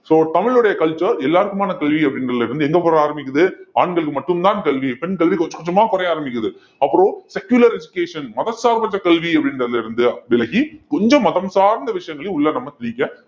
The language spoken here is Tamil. so தமிழுடைய culture எல்லாருக்குமான கல்வி அப்படின்றதுல இருந்து எங்க போற ஆரம்பிக்குது ஆண்களுக்கு மட்டும்தான் கல்வி பெண் கல்வி கொஞ்சம் கொஞ்சமா குறைய ஆரம்பிக்குது அப்புறம் secular education மதசார்பற்ற கல்வி அப்படின்றதுல இருந்து விலகி கொஞ்சம் மதம் சார்ந்த விஷயங்களையும் உள்ள நம்ம திணிக்க